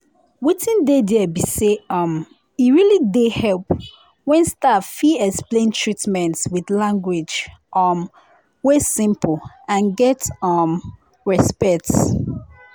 wetin dey there be say um e really dey help when staff fit explain treatment with language um wey simple and get um respect.